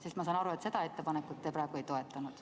Sest ma saan aru, et seda ettepanekut praegu ei toetatud.